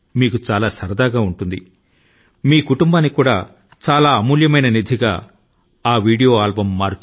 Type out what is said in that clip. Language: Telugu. ఈ ఇంటర్వ్యూ మంచి వీడియో ఆల్బమ్ గాను కుటుంబాని కి అమూల్యమైన నిధి గాను మిగలవచ్చు